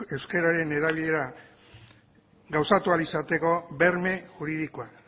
euskeraren erabilera gauzatu ahal izateko berme juridikoa